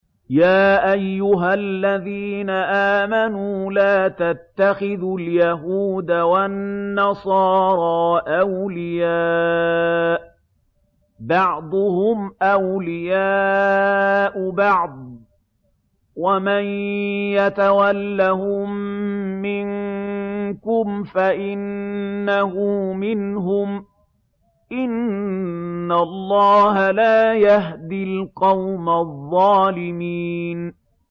۞ يَا أَيُّهَا الَّذِينَ آمَنُوا لَا تَتَّخِذُوا الْيَهُودَ وَالنَّصَارَىٰ أَوْلِيَاءَ ۘ بَعْضُهُمْ أَوْلِيَاءُ بَعْضٍ ۚ وَمَن يَتَوَلَّهُم مِّنكُمْ فَإِنَّهُ مِنْهُمْ ۗ إِنَّ اللَّهَ لَا يَهْدِي الْقَوْمَ الظَّالِمِينَ